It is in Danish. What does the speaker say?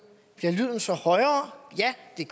bliver lyden så højere ja det